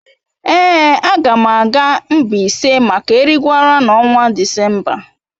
Èé, a ga m aga Mbaise maka Erigwara n’ọnwa Disemba